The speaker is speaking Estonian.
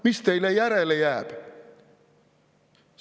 Mis teile järele jääb?